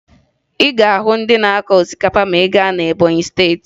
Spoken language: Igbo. Ị ga-ahụ ndị na-akụ osikapa ma ị gaa na Ebọnyị Steeti